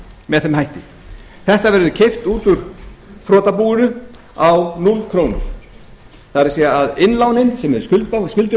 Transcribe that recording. með þeim hætti þetta verður keypt út úr þrotabúinu á núll krónur það er að innlánin sem menn skulda og skuldir